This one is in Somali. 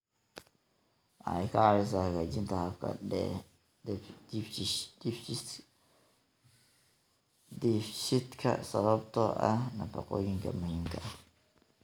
Waxay ka caawisaa hagaajinta habka dheefshiidka sababtoo ah nafaqooyinka muhiimka ah.